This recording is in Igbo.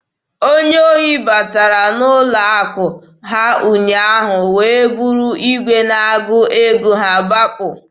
Onye ohi batara n'ụlọ akụ ha ụnyaahụ wee buru igwe na-agụ ego ha gbapụ.